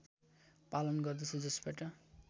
पालन गर्दछ जसबाट